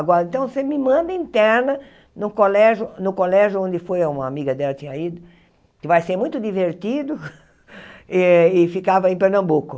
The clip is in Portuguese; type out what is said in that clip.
Agora, então, você me manda interna no colégio, no colégio onde foi, uma amiga dela tinha ido, que vai ser muito divertido, e e ficava em Pernambuco.